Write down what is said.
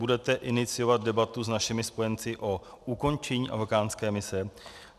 Budete iniciovat debatu s našimi spojenci o ukončení afghánské mise?